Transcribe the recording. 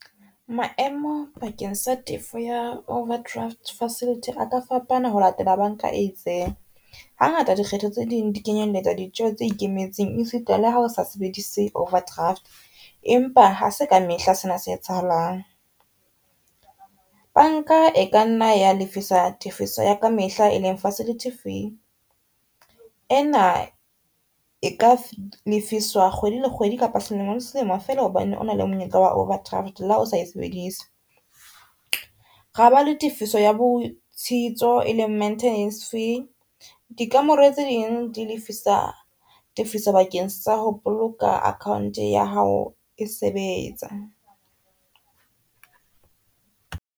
Maemo bakeng sa tefo ya overdraft facility a ka fapana ho latela banka e itseng. Ha ngata dikgetho tse ding di kenyelletsa ditjeho tse ikemetseng e sita le ha o sa sebedise overdraft, empa ha se ka mehla sena se etsahalang. Banka e ka nna ya lefisa tefiso ya ka mehla e leng facility fee, ena e ka lefiswa kgwedi le kgwedi kapa selemo le selemo fela hobane ona le monyetla wa overdraft le ha o sa e sebedisa. Ra ba le tefiso ya botshitso e leng maintenance fee di kamore tse ding di lefisa tefiso bakeng sa ho boloka account ya hao e sebetsa.